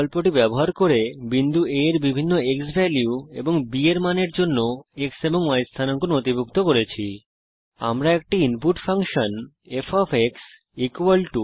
বিন্দু A এর বিভিন্ন ক্সভ্যালিউ এবং b এর মানের জন্য x এবং y স্থানাঙ্ক নথিভুক্ত করতে রেকর্ড টো স্প্রেডশীট বিকল্পটি ব্যবহার করেছি